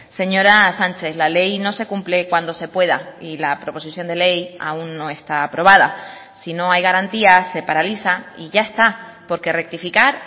señora sánchez la ley no se cumple cuando se pueda y la proposición de ley aún no está aprobada si no hay garantías se paraliza y ya está porque rectificar